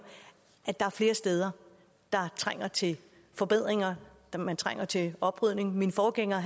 er der flere steder der trænger til forbedringer den trænger til oprydning min forgænger